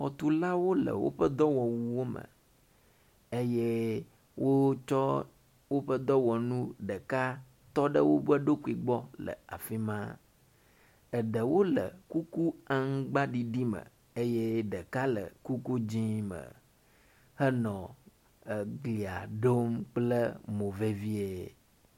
xɔtulawo le wóƒe dɔwɔwuwo me eye wótsɔ wóƒe dɔwɔnu ɖeka tsɔ ɖe woɖokui gbɔ le afima eɖewo le kuku amgba ɖiɖi me eye ɖeka le kuku dzĩ me henɔ eglia ɖom kple mo vevie